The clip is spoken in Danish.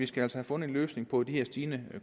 skal have fundet en løsning på med den stigende